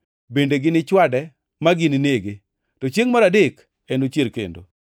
Bende ginichwade ma gininege, to chiengʼ mar adek enochier kendo.”